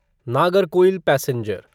Nagercoil passenger